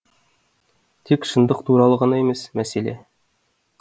тек шындық туралы ғана емес мәселе